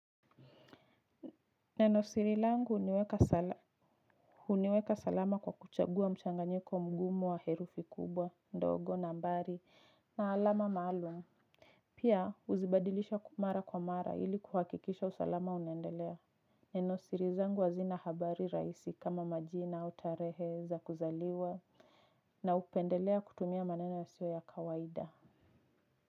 Neno siri langu huniweka salama kwa kuchagua mchanganyiko mgumu wa herufi kubwa, ndogo, nambari, na alama maalum. Pia huzibadilisha mara kwa mara ili kuhakikisha usalama unaendelea. Neno siri zangu hazina habari rahisi kama majina au tarehe za kuzaliwa. Na hupendelea kutumia maneno yasiyo ya kawaida.